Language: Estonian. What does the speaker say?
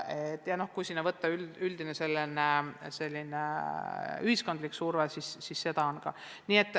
Sellele lisandub veel üldine ühiskondlik surve, seda on samuti.